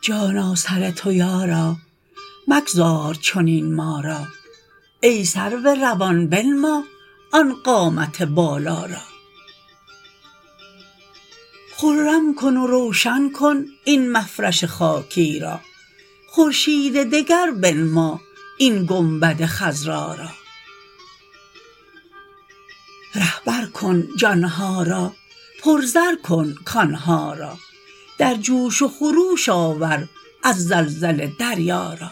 جانا سر تو یارا مگذار چنین ما را ای سرو روان بنما آن قامت بالا را خرم کن و روشن کن این مفرش خاکی را خورشید دگر بنما این گنبد خضرا را رهبر کن جان ها را پرزر کن کان ها را در جوش و خروش آور از زلزله دریا را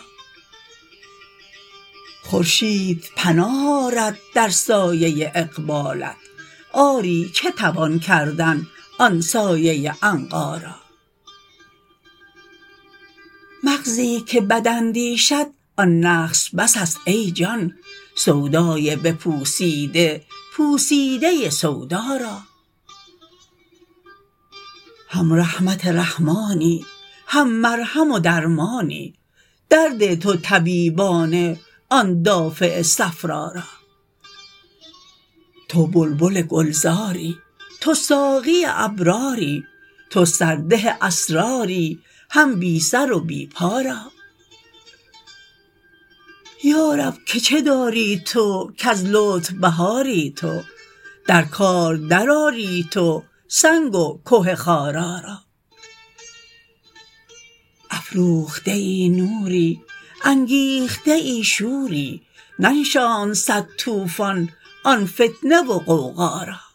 خورشید پناه آرد در سایه اقبالت آری چه توان کردن آن سایه عنقا را مغزی که بد اندیشد آن نقص بسست ای جان سودای بپوسیده پوسیده سودا را هم رحمت رحمانی هم مرهم و درمانی درده تو طبیبانه آن دافع صفرا را تو بلبل گلزاری تو ساقی ابراری تو سرده اسراری هم بی سر و بی پا را یا رب که چه داری تو کز لطف بهاری تو در کار درآری تو سنگ و که خارا را افروخته نوری انگیخته شوری ننشاند صد طوفان آن فتنه و غوغا را